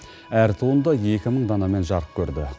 әр туынды екі мың данамен жарық көрді